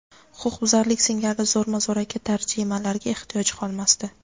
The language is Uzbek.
huquqbuzarlik singari zo‘rma-zo‘raki tarjimalarga ehtiyoj qolmasdi.